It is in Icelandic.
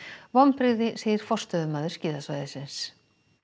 vonbrigði segir forstöðumaður skíðasvæðisins